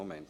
Gut